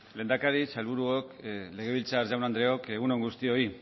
lehendakari sailburuok legebiltzar jaun andreok egun on guztioi